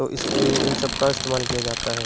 तो इसलिए इन सब का इस्तेमाल किया जाता है।